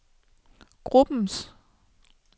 gruppens